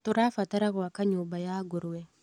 Tũrabatara gwaka nyũmba ya ngũrũwe.